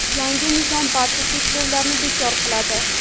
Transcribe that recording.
Yangi nizom barcha cheklovlarni bekor qiladi.